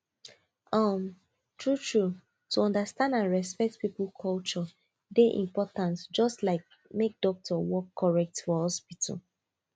um true true to understand and respect people culture dey important just like make doctor work correct for hospital